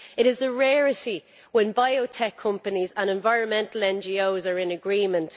It is a rarity when biotech companies and environmental NGOs are in agreement.